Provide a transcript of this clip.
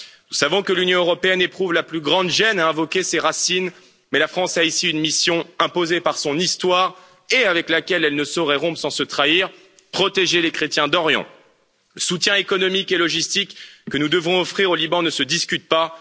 Nous savons que l'Union européenne éprouve la plus grande gêne à invoquer ses racines mais la France a ici une mission imposée par son histoire et avec laquelle elle ne saurait rompre sans se trahir protéger les chrétiens d'Orient. Le soutien économique et logistique que nous devons offrir au Liban ne se discute pas.